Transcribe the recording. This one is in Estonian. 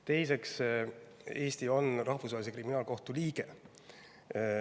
Teiseks, Eesti on Rahvusvahelise Kriminaalkohtu liige.